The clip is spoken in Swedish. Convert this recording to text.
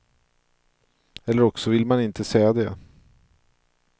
Eller också vill man inte säga det.